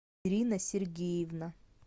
ирина сергеевна